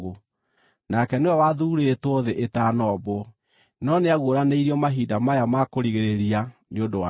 Nake nĩwe wathuurĩtwo thĩ ĩtanombwo, no nĩaguũranĩrio mahinda maya ma kũrigĩrĩria nĩ ũndũ wanyu.